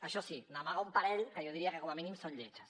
això sí n’amaga un parell que jo diria que com a mínim són lletges